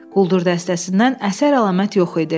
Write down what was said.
Quldur dəstəsindən əsər-əlamət yox idi.